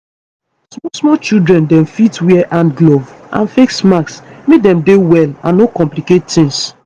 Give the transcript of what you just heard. small small children dem fit wear hand gloves and face masks make dem dey well and no complicate tings